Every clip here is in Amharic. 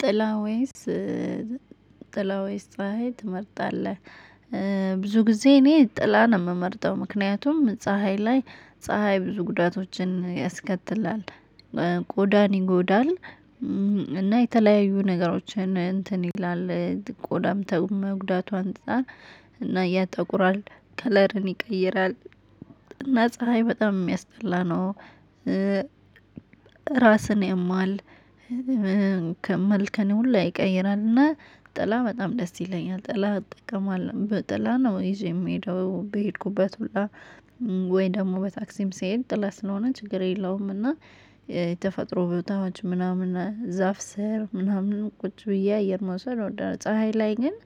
ጥላ ወይስ ጥላ ወይስ ፀሀይ ትመርጣለህ? ብዙ ጊዜ እኔ ጥላ ነው የምመርጠው? ምክንያቱም ፀሀይ ላይ ፀሀይ ብዙ ጉዳቶችን ያስከትላል። ቆዳን ይጎዳል። እና የተለያዩ ነገሮችን እንትን ይላል። ቆዳም ከመጉዳቱ አንፃር እና ያጠቁራል፣ ከለርን ይቀይራል። እና ፀሀይ በጣም የሚያስጠላ ነው። ራስን ያማል፣ መልክን ሁላ ይቀይራል። እና ጥላ በጣም ደስ ይለኛል። ጥላ እጠቀማለሁ። በጥላ ነው ይዤ የምሄደው በሄድኩበት ሁላ። ወይ ደግሞ በታክሲም ስሄድ ጥላ ስለሆነ ችግር የለውም። እና የተፈጥሮ ቦታዎች ምናምን ዛፍ ስር ምናምን ቁጭ ብዬ አየር መውሰድ እወዳለሁ። ፀሀይ ላይ ግን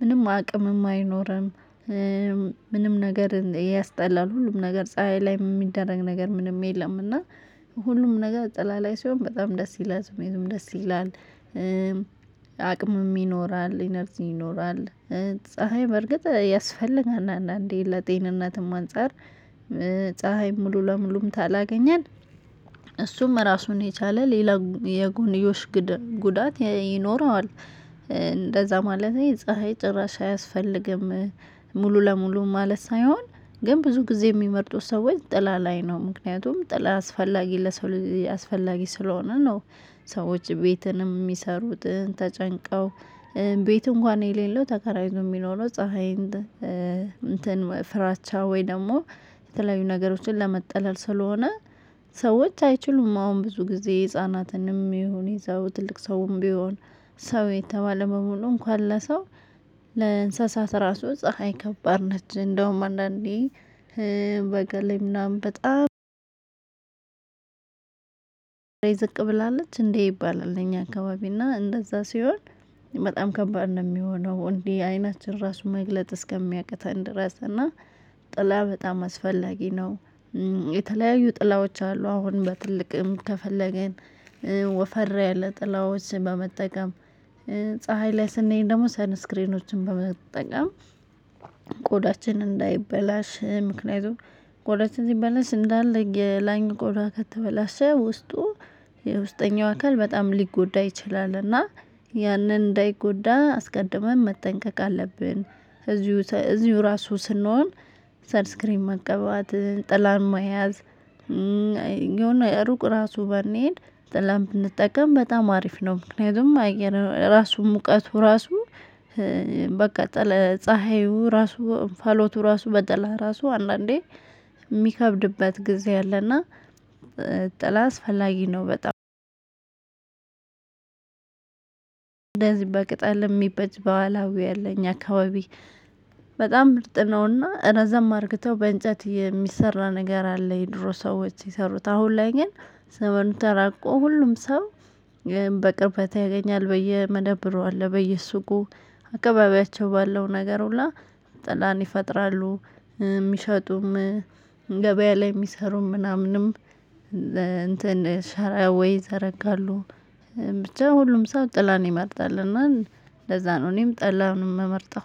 ምንም አቅምም አይኖርም፣ ምንም ነገር ያስጠላል። ሁሉም ነገር ፀሀይ ላይ የሚደረግ ነገር ምንም የለም። እና ሁሉም ነገር ጥላ ላይ ሲሆን በጣም ደስ ይላል። ስሜቱም ደስ ይላል። አቅምም ይኖራል፣ ኢነርጂ ይኖራል። ፀሀይ በእርግጥ ያስፈልጋል። አንዳንዴ ለጤንነትም አንፃር ፀሀይ ሙሉ ለሙሉም ታላገኘን እሱም ራሱን የቻለ ሌላ የጎንዮሽ ጉዳት ይኖረዋል። እንደዛ ማለቴ ፀሀይ ጭራሽ አያስፈልግም ሙሉ ለሙሉ ማለት ሳይሆን ግን ብዙ ጊዜ የሚመርጡት ሰዎች ጥላ ላይ ነው። ምክንያቱም ጥላ አስፈላጊ ለሰው ልጅ አስፈላጊ ስለሆነ ነው። ሰዎች ቤትንም የሚሰሩትን ተጨንቀው ቤት እንኳን የሌለው ተከራይቶ የሚኖረው ፀሀይ እንትን ፍራቻ ወይ ደግሞ የተለያዩ ነገሮችን ለመጠለል ስለሆነ ሰዎች አይችሉም አሁን ብዙ ጊዜ ህፃናትንም ይሁን ይዘው ትልቅ ሰውም ቢሆን ሰው የተባለ በሙሉ እንኳን ለሰው ለእንስሳት ራሱ ፀሀይ ከባድ ነች። እንደውም አንዳንዴ በጋ ላይ ምናምን በጣም ዝቅ ብላለች እንዴ ይባላል እኛ አካባቢ እና እንደዛ ሲሆን በጣም ከባድ ነው የሚሆነው። እንዲህ አይናችን ራሱ መግለጥ እስከሚያቅተን ድረስ። እና ጥላ በጣም አስፈላጊ ነው። የተለያዩ ጥላዎች አሉ። አሁን በትልቅም ከፈለገን ወፈር ያለ ጥላዎችን በመጠቀም፣ ፀሀይ ላይ ስንሄድ ደግሞ ሰንስክሪኖችን በመጠቀም ቆዳችን እንዳይበላሽ ምክንያቱም ቆዳችን እንዲበላሽ እንዳለ የላኛው ቆዳ ከተበላሸ ውስጡ የውስጠኛው አካል በጣም ሊጎዳ ይችላል። እና ያንን እንዳይጎዳ አስቀድመን መጠንቀቅ አለብን። እዚሁ እዚሁ ራሱ ስንሆን መቀበባት ጥላም መያዝ የሆነ ሩቅ ራሱ ባንሄድ ጥላ ብጠቀም በጣም አሪፍ ነው። ምክንያቱም አየር ራሱን ሙቀቱ ራሱ በቃ ጥላ ፀሀዩ ራሱ እንፋሎቱ ራሱ በጥላ ራሱ አንዳንዴ የሚከብድበት ጊዜ አለ። እና ጥላ አስፈላጊ ነው። በጣም እንደዚህ በቅጠል የሚበጅ በኋላ ወይ አለ እኛ አካባቢ በጣም ምርጥ ነው። እና እረዘም አርክተው በእንጨት የሚሰራ ነገር አለ የድሮ ሰዎች የሰሩት። አሁን ላይ ግን ዘመኑ ተራቆ ሁሉም ሰው በቅርበት ያገኛል። በየመደብሩ አለ። በየሱቁ፣ አካባቢያቸው ባለው ነገር ሁላ ጥላን ይፈጥራሉ። ሚሸጡም ገበያ ላይ የሚሰሩም ምናምንም እንትን ሸራ ወይ ዘረጋሉ። ብቻ ሁሉም ሰው ጥላን ይመርጣል። እና ለዛ ነው እኔም ጥላን የምመርጠው።